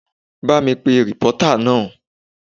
Ba mi pe rìpọ́tà náà!